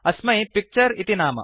अस्मै पिक्चर इति नाम